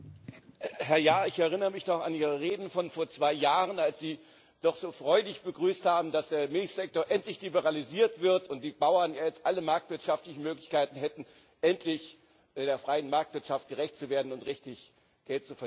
Herr Jahr, ich erinnere mich noch an Ihre Reden von vor zwei Jahren, als Sie doch so freudig begrüßt haben, dass der Milchsektor endlich liberalisiert wird und die Bauern jetzt alle marktwirtschaftlichen Möglichkeiten hätten, endlich der freien Marktwirtschaft gerecht zu werden und richtig Geld zu verdienen.